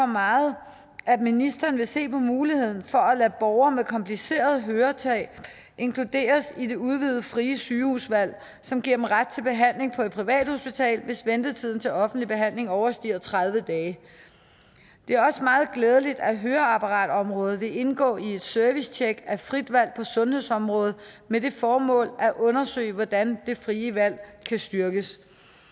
meget at ministeren vil se på muligheden for at lade borgere med kompliceret høretab inkluderes i det udvidede frie sygehusvalg som giver dem ret til behandling på et privathospital hvis ventetiden til offentlig behandling overstiger tredive dage det er også meget glædeligt at høreapparatområdet vil indgå i et servicetjek af frit valg på sundhedsområdet med det formål at undersøge hvordan det frie valg kan styrkes